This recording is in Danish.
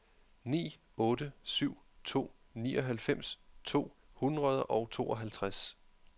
ni otte syv to nioghalvfems to hundrede og tooghalvtreds